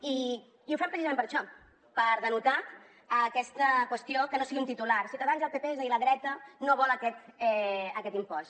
i ho fem precisament per això per denotar aquesta qüestió que no sigui un titular ciutadans i el pp és a dir la dreta no vol aquest impost